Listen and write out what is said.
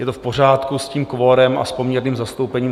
Je to v pořádku s tím kvorem a s poměrným zastoupením.